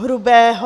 Hrubého.